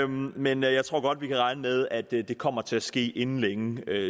men jeg tror godt vi kan regne med at det kommer til at ske inden længe